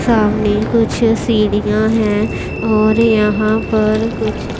सामने कुछ सीढ़ियां हैं और यहां पर कुछ--